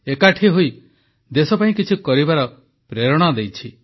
ଏକାଠି ହୋଇ ଦେଶପାଇଁ କିଛି କରିବାର ପ୍ରେରଣା ଦେଇଛି